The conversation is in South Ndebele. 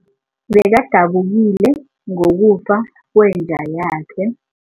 Bekadabukile ngokufa kwenja yakhe.